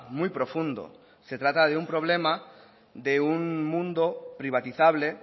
muy profundo se trata de un problema de un mundo privatizable